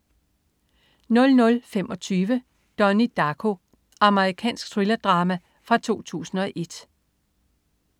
00.25 Donnie Darko. Amerikansk thrillerdrama fra 2001